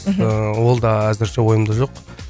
мхм ііі ол да әзірше ойымда жоқ